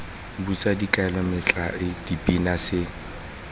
bosa dikaelo metlae dipina se